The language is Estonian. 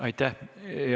Aitäh!